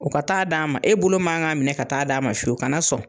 O ka taa d'a ma , e bolo man ka minɛ ka taa d'a ma fiyewu. Ka na sɔn.